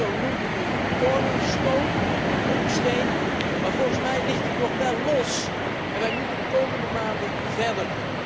Meneer Barroso noemt het een corner stone een hoeksteen, maar volgens mij ligt die nog wel los, en wij moeten de komende maanden verder.